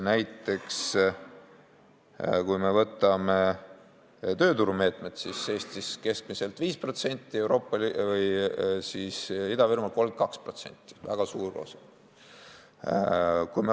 Näiteks võtame tööturumeetmed: Eestisse keskmiselt on läinud 5%, Ida-Virumaale 32% – väga suur osa.